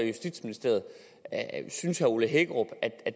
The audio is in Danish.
justitsministeriet synes herre ole hækkerup at